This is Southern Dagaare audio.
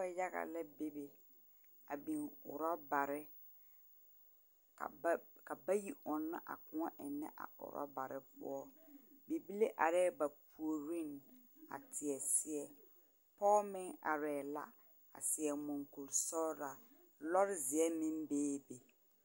Noba yaga la bebe, a biŋ orͻbare. Ka ba ka bayi ͻnnͻ a kõͻ ennͻ a ennԑ a orͻbare poͻ. Bibile arԑԑ ba puoriŋ a teԑ seԑ, pͻge meŋ arԑԑ la a seԑ moŋkurisͻgelaa. Lͻre zeԑ meŋ beebe.